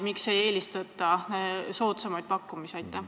Miks ei eelistata soodsamaid pakkumisi?